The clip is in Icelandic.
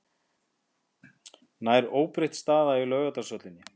Nær óbreytt staða í Laugardalshöllinni